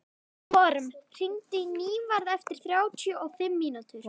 Vorm, hringdu í Nývarð eftir þrjátíu og fimm mínútur.